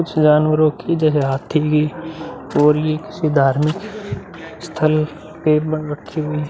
कुछ जानवरो की जैसे हाँथी किसी धार्मिक स्थल के --